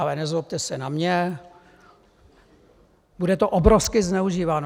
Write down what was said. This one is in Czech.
Ale nezlobte se na mě, bude to obrovsky zneužíváno.